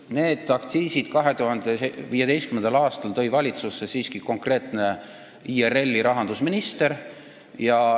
Need aktsiisid tõi 2015. aastal valitsusse siiski konkreetne IRL-i rahandusminister.